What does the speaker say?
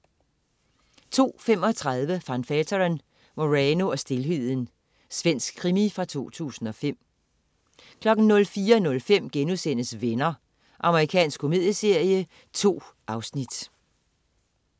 02.35 Van Veeteren: Moreno og stilheden. Svensk krimi fra 2005 04.05 Venner.* Amerikansk komedieserie. 2 afsnit